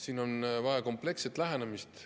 Siin on vaja kompleksset lähenemist.